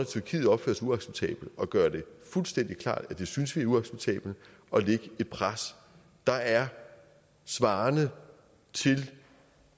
tyrkiet opfører sig uacceptabelt at gøre det fuldstændig klart at det synes vi er uacceptabelt og lægge et pres der er svarende til